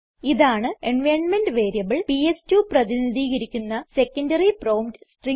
ഇതാണ് environment variable PS two പ്രതിനിധീകരിക്കുന്ന secondary prompt string